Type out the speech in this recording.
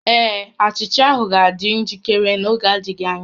Ee, achicha ahụ ga-adị njikere n'oge adịghị anya